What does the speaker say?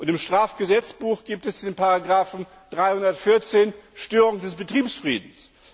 Im Strafgesetzbuch gibt es den Paragrafen 314, Störung des Betriebsfriedens.